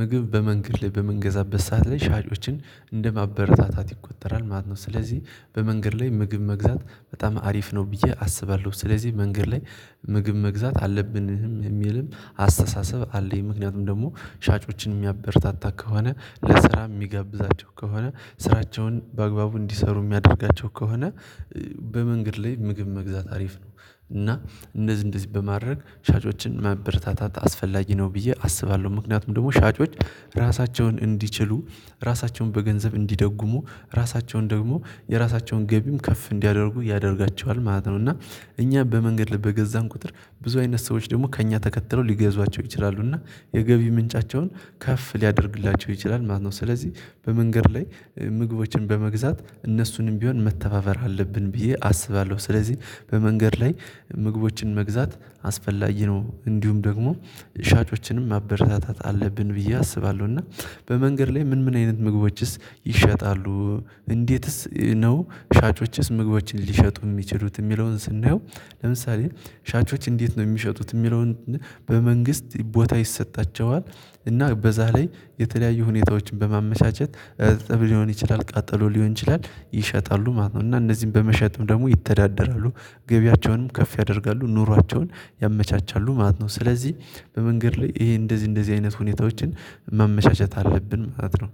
ምግብ በመንገድ ላይ በምንገዛበት ሰዓት ላይ ሻጮችን እንደማበረታታት ይቆጠራል ማለት ነው። ስለዚህ በመንገድ ላይ ምግብ መግዛት በጣም አሪፍ ነው ብዬ አስባለሁ። ስለዚህ መንገድ ላይ ምግብ መግዛት አለብን የሚልም አስተሳሰብ አለኝ። ምክንያቱም ደግሞ ሻጮችን የሚያበረታታ ከሆነ፤ ለስራ የሚጋብዛቸው ከሆነ፤ ስራቸውን በአግባቡ እንዲሰሩ የሚያደርጋቸው ከሆነ፤ በመንገድ ላይ ምግብ መግዛት አሪፍ ነው። እና እንደዚህ እንደዚህ በማድረግ ሻጮችን ማበረታታት አስፈላጊ ነው ብዬ አስባለሁ። ምክንያቱም ደግሞ ሻጮች ራሳቸውን እንዲችሉ፤ ራሳቸውን በገንዘብ እንዲደጉሙ፤ ራሳቸውን ደግሞ የራሳቸውን ገቢም ከፍ እንዲያደርጉ ያደርጋቸዋል ማለት ነው። እና እኛ በመንገድ ላይ በገዛን ቁጥር ብዙ አይነት ሰዎች ደግሞ ከእኛ ተከትለው ሊገዟቸው ይችላሉ እና የገቢ ምንጫቸውን ከፍ ሊያደርግላቸው ይችላል ማለት ነው። ስለዚህ በመንገድ ላይ ምግቦችን በመግዛት እነሱንም ቢሆን መተባበር አለብን ብዬ አስባለሁ። ስለዚህ በመንገድ ላይ ምግቦችን መግዛት አስፈላጊ ነው። እንዲሁም ደግሞ ሻጮችንም ማበረታታት አለብን ብዬ አስባለሁ። እና በመንገድ ላይ ምን ምን አይነት ምግቦችስ ይሸጣሉ እንዴትስ ነው ሻጮችስ ምግቦችን ሊሸጡ የሚችሉት የሚለውን ስናየው ለምሳሌ ሻጮች እንዴት ነው የሚሸጡት የሚለውን በመንግስት ቦታ ይሰጣቸዋል እና በዛ ላይ የተለያዩ ሁኔታዎችን በማመቻቸት እርጥብ ሊሆን ይችላል፤ ቃጠሎ ሊሆን ይችላል ይሸጣሉ ማለት ነው። እና እነዚህን በመሸጥም ደግሞ ይተዳደራሉ፤ ገቢያቸውንም ከፍ ያደርጋሉ፤ ኑሯቸውን ያመቻቻሉ ማለት ነው። ስለዚህ በመንገድ ላይ ይሄ እንደዚህ እንደዚህ አይነት ሁኔታዎችን ማመቻቸት አለብን ማለት ነው።